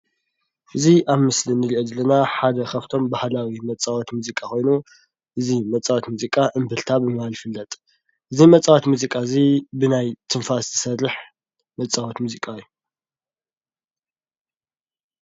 እዚ ኣብ ምስሊ ንሪኦ ዘለና ሓደ ካፍቶም ባህላዊ መፃወቲ ሙዚቃ ኾይኑ እዚ መፃወቲ ሙዚቃ እምብልታ ብምባል ይፍለጥ፡፡ እዚ መፃወቲ ሙዚቃ እዚ ብናይ ትንፋስ ዝሰርሕ መፃወቲ ሙዚቃ እዩ፡፡